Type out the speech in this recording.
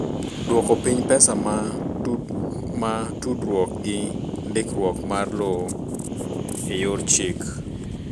Odwoko piny pesa ma tudruok gi ndikruok mar lowo e yor chik